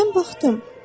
Mən baxdım.